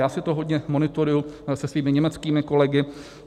Já si to hodně monitoruji se svými německými kolegy.